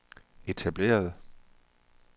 etablerede